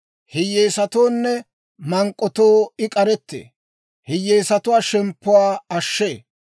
Hiyyeesatoonne mank'k'otoo I k'arettee; hiyyeesatuwaa shemppuwaa ashshee.